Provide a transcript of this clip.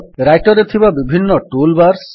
Writer ରେ ଥିବା ବିଭିନ୍ନ ଟୁଲ୍ ବାର୍ସ